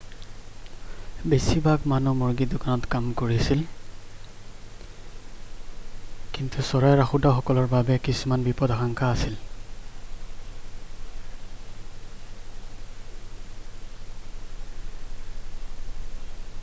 বেছিভাগ মানুহ মুৰ্গীৰ দোকানত কাম কৰিছিল কিন্তু চৰাই ৰাখোঁতাসকলৰ বাবে কিছুমান বিপদাশঙ্কা আছিল